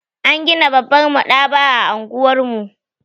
An gina babbar maɗaba'a a unguwar mu.